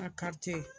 A kari tɛ